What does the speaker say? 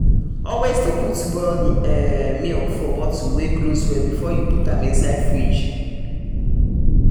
always de put boiled um milk for bottle wey close well before you put am inside fridge um